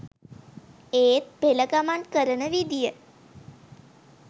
ඒත් පෙළ ගමන් කරන විදිය